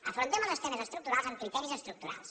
afrontem els temes estructurals amb criteris estructurals